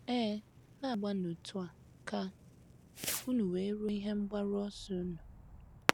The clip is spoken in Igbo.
Ee, “ na - agbanụ otú a, ” ka unu wee ruo ihe mgbaru ọsọ unu.